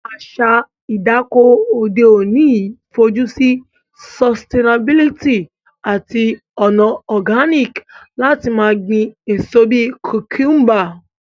Àsa ìdáko òde ọ̀ní n fojusí sustianabilty àtí ònà organic lati ma gbín èso bi cucumber